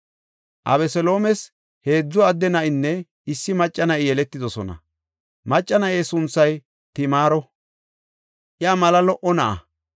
Abeseloomes heedzu adde na7inne issi macca na7i yeletidosona; macca na7e sunthay Timaaro; iya mala lo77o na7a.